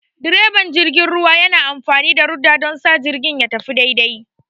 direban jirgin ruwa yana amfani da rudder don sa jirgin ya tafi daidai.